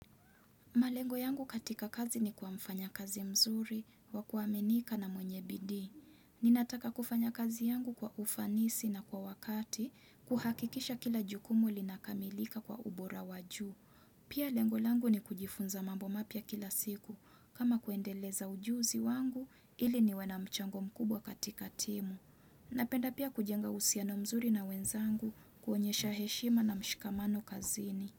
Malengo yangu katika kazi ni kuwa mfanya kazi mzuri, wakuaminika na mwenye bidii. Ninataka kufanya kazi yangu kwa ufanisi na kwa wakati, kuhakikisha kila jukumu linakamilika kwa ubora wa juu. Pia lengo langu ni kujifunza mambo mapya kila siku, kama kuendeleza ujuzi wangu ili niwe na mchango mkubwa katika timu. Napenda pia kujenga uhusiano mzuri na wenzangu kuonyesha heshima na mshikamano kazini.